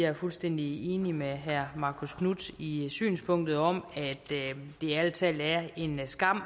er fuldstændig enig med herre marcus knuth i synspunktet om at det ærlig talt er en skam